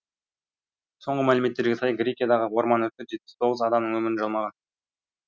соңғы мәліметтерге сай грекиядағы орман өрті жетпіс тоғыз адамның өмірін жалмаған